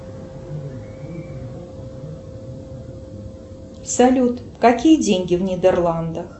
салют какие деньги в нидерландах